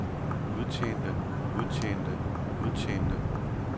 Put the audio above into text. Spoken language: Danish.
udtjente udtjente udtjente